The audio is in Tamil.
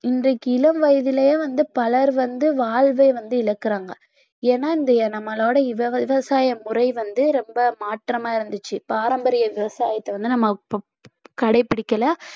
இன்றைக்கு இளம் வயதிலேயே வந்து பலர் வந்து வாழ்வ வந்து இழக்கிறாங்க ஏன்னா இந்த நம்மளோட விவ~ விவசாய முறை வந்து ரொம்ப மாற்றமா இருந்துச்சு பாரம்பரிய விவசாயத்தை வந்து நம்ம இப்ப கடைபிடிக்கல